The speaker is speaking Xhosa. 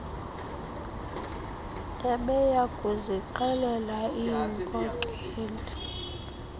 ebeya kuzixelela iinkokeli